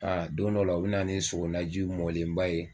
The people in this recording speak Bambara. don dɔ la u bɛ na ni sogonaji mɔlenba ye,